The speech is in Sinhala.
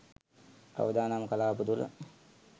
අවදානම් කලාප තුල